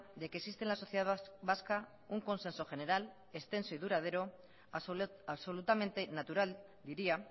de que existe en la sociedad vasca un consenso general extenso y duradero absolutamente natural diría